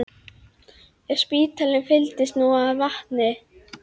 Ef spítalinn fylltist nú af vatni!